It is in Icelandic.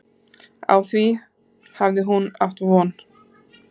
Á því hafi hún átt von.